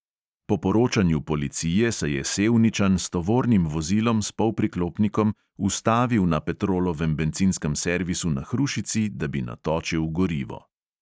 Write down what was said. Po poročanju policije se je sevničan s tovornim vozilom s polpriklopnikom ustavil na petrolovem bencinskem servisu na hrušici, da bi natočil gorivo.